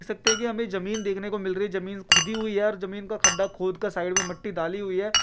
देख सकते है कि हमें जमीन देखने को मिल रही है जमीन खुदी हुई है और जमीन का खड्डा खोद कर साइड में मट्टी डाली हुई है।